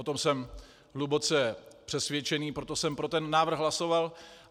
O tom jsem hluboce přesvědčený, proto jsem pro ten návrh hlasoval.